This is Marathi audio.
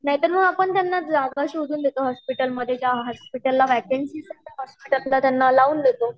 नाही तर मग आपण त्यांना जागा शोधून देतो हॉस्पिटलमध्ये ज्या हॉस्पिटलला वेकेंसी आसते त्यात त्यांना लाउन देतो